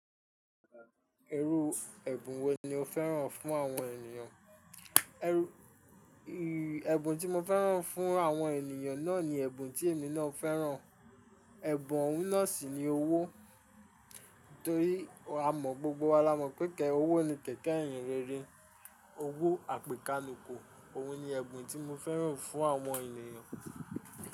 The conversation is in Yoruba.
Irú ẹ̀bùn wo ni o fẹ́ràn fún àwọn ènìyàn? Ẹ̀bùn tí mo fẹ́ràn fún àwọn ènìyàn náà ni ẹ̀bùn tí èmi náà fẹ́ràn. Ẹ̀bùn oun náà sì ni owó. Torí a mọ̀ gbogbo wa la mọ̀ pé ike owó ni kẹ̀kẹ́ ihinrere. Owó àpèkánúko. Òhun ni ẹ̀bùn tí mo fẹ́ràn fún àwọn ènìyàn.